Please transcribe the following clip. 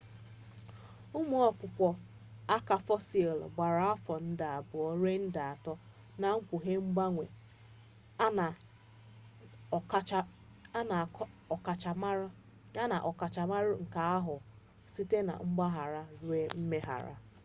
ụmụ ọkpụkpọ aka fosil gbara afọ nde abuo rue nde ato na-ekpughe ngbanwe a na ọkachamara nke aka ahụ site na ngagharị rue mmegharị